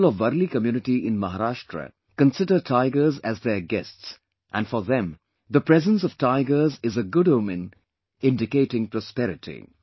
People of Warli Community in Maharashtra consider tigers as their guests and for them the presence of tigers is a good omen indicating prosperity